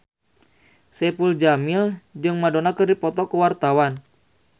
Saipul Jamil jeung Madonna keur dipoto ku wartawan